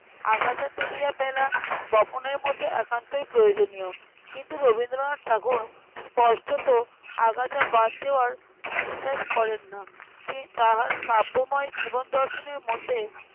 আগাছা তুলিয়া ফেলা বপনের মতোই একান্ত প্রয়োজনীয়। কিন্তু রবীন্দ্রনাথ ঠাকুর স্পষ্টত আগাছা বাদ দেওয়ার বিশ্বাস করেন না। তি~ তাহার কাব্যময় জীবন দর্শনের মধ্যে